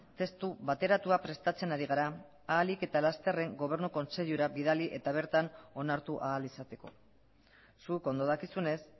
testu bateratua prestatzen ari gara ahalik eta lasterren gobernu kontseilura bidali eta bertan onartu ahal izateko zuk ondo dakizunez